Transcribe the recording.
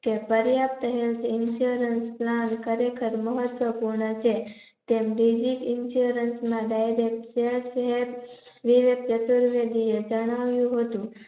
કે પર્યાપ્ત Health Insurance ના ખરે ખર મહત્વ પૂર્ણ છે. તેમ બીજી Insurance માં Direct વિવેક ચતુર્વેદી એ જાણવાનું હતું